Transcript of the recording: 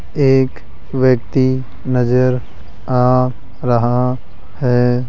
एक व्यक्ति नजर आ रहा है।